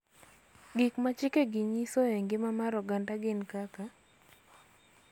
Gik ma chikegi nyiso e ngima mar oganda gin kaka .